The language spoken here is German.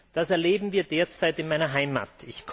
Das erleben wir derzeit in meiner Heimat.